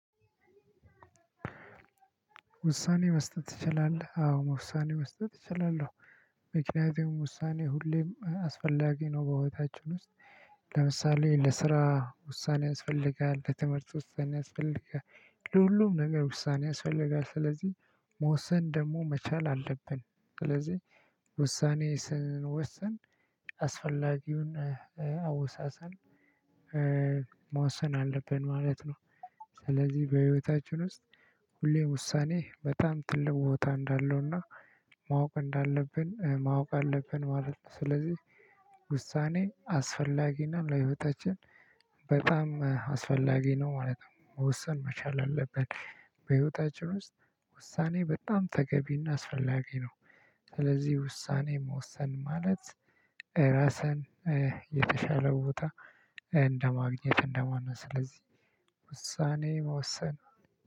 ውሳኔ መስጠት ትችላለህ? አዎ ውሳኔ መስጠት እችላለሁ ምክንያቱም ውሳኔ ሁሌም አስፈላጊ ነው በህይወታችን ውስጥ። ለምሳሌ ለስራ ውሳኔ ያስፈልጋል ለትምህርትም ውሳኔ ያስፈልጋል። ለሁሉም ነገር ውሳኔ ያስፈልጋል ስለዚህ መወሰን ደግሞ መቻል አለብን። ስለዚህ ውሳኔ ስንወስን አስፈላጊውን አወሳሰን መዋሰን አለብን ማለት ነው። ስለዚህ በህይወታችን ውስጥ ሁሌም ውሳኔ በጣም ትልቅ ቦታ እንዳለውና ማወቅ እንዳለብን ማወቅ አለብን ማለት ነው። ስለዚህ ውሳኔ አስፈላጊና ለህይወታችን በጣም አስፈላጊ ነው ማለት ነው። መወሰን መቻል አለበት። በህይወታችን ውስጥ ውሳኔ በጣም ተገቢና አስፈላጊ ነው። ስለዚህ ውሳኔ መወሰን ማለት ራስን የተሻለ ቦታ እንደማግኘት እንደ ማለት ነው። ስለዚህ ውሳኔ መወሰን